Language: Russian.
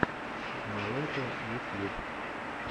мэлэта ютьюб